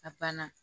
A banna